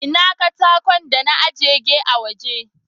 Ina katakan dan na ajege a waje.